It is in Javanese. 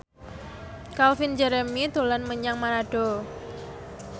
Calvin Jeremy dolan menyang Manado